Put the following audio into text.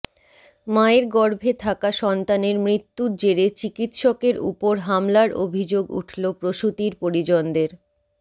মায়ের গর্ভে থাকা সন্তানের মৃত্যুর জেরে চিকিৎসকের উপর হামলার অভিযোগ উঠল প্রসূতির পরিজনদের